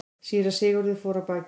Síra Sigurður fór af baki.